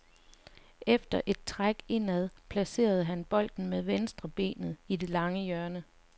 Efter et træk indad placerede han bolden med venstrebenet i det lange hjørne.